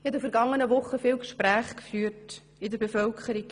Ich habe in den vergangenen Wochen viele Gespräche geführt in der Bevölkerung.